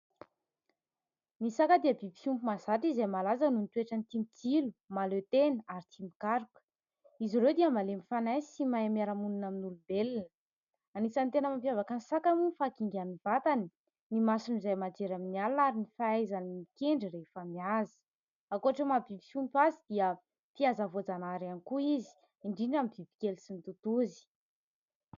Ny saka dia biby fiompy mahazatra izay malaza noho ny toetrany tia mitsilo, mahaleo tena ary tia mikaroka. Izy ireo dia malemy fanahy sy mahay miara-monina amin'ny olombelona. Anisan'ny tena mampiavaka ny saka moa ny fahakingan'ny vatany, ny masony izay mahajery amin'ny alina ary ny fahaizany mikendry rehefa mihaza. Ankoatry ny maha-biby fiompy azy dia mpihaza voajanahary ihany koa izy, indrindra amin'ny bibikely sy ny totozy.